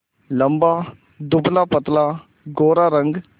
लंबा दुबलापतला गोरा रंग